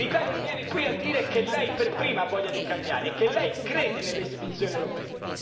L'Italia viene qui a dire che essa per prima ha voglia di cambiare e che crede nelle istituzioni europee.